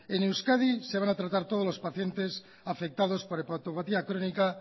en euskadi se van a tratar todos los pacientes afectados por hepatopatía crónica